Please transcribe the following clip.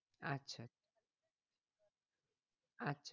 আচ্ছা আচ্ছা